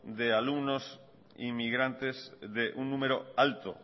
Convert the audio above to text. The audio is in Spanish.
de alumnos de inmigrantes un número alto